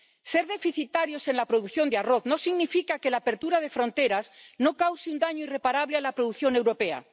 Ser deficitarios en la producción de arroz no significa que la apertura de fronteras no cause un daño irreparable a la producción europea.